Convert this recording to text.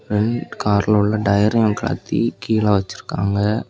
ரெண் கார்ல உள்ள டயரையு கலத்தி கீழ வச்சிருக்காங்க.